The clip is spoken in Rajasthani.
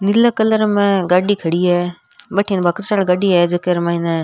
नीले कलर में गाड़ी खड़ी है भटीन बक्सर खड़ी है जेके मई ने।